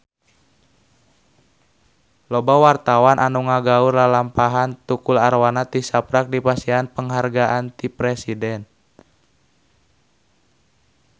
Loba wartawan anu ngaguar lalampahan Tukul Arwana tisaprak dipasihan panghargaan ti Presiden